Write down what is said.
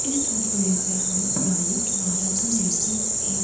इस तस्वीर में हमें पुरानी इमारतों जैसी एक--